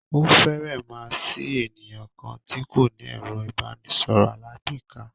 Ó fèrè má sí ènìyàn kan tí kò ní ẹ̀rọ ìbánisọ̀rọ̀ alágbèéká.